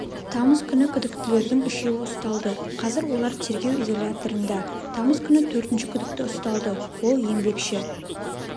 тамыз күні күдіктілердің үшеуі ұсталды қазір олар тергеу изоляторында тамыз күні төртінші күдікті ұсталды ол еңбекші